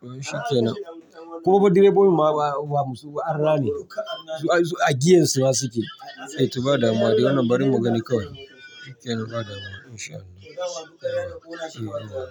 To shi kenan. Kuma fa direbobi ma ba musulmai ba arna ne. A giyan su ma suke. Eh to ba damuwa dai wannan barin mu gani kawai. Shi kenan bada mu in shaa Allah. Eh to.